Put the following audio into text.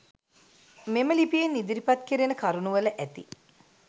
මෙම ලිපියෙන් ඉදිරිපත් කෙරෙන කරුණුවල ඇති